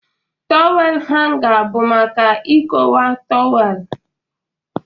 Tawel hanga bụ maka ikowe tawel.